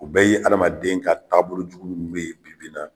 O bɛɛ ye adamaden ka taabolojugu min bɛ yen bibi in na.